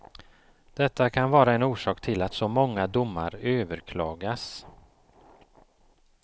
Detta kan vara en orsak till att så många domar överklagas.